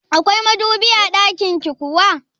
Akwai madubi a ɗakinki kuwa?